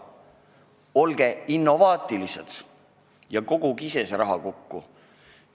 Olge innovaatilised ja koguge ise see raha kokku!